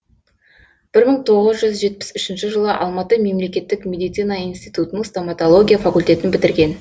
бір мың тоғыз жүз жетпіс үшінші жылы алматы мемлекеттік медицина институтының стоматология факультетін бітірген